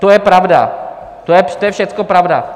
To je pravda, to je všechno pravda.